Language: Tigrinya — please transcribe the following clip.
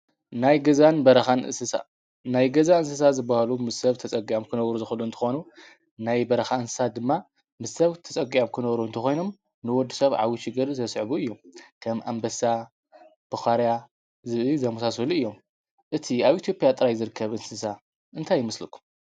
ናይ ገዛን በረኻን እንስሳ ናይ ገዛ እንስሳ ዝበሃሉ ምሰ ሰብ ተፀጊዖም ክነብሩ ዝኽእሉ እንትኾኑ ናይ በረኻ እንስሳ ድማ ምስ ሰብ ተፀጊኦም ክነብሩ እንተኾይኖም ንወድሰብ ዓብዪ ችግር ዘስዕቡ እዩ ከም ኣንበሳ ፣ቡኻርያ፣ ዝብኢ ዝመሳሰሉ እዮም እቲ ኣብ ኢትዮጵያ ጥራይ ዝርከብ እንስሳ እንታይ ይመስለኩም?